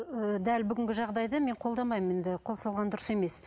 ы дәл бүгінгі жағдайды мен қолдамаймын енді қосылған дұрыс емес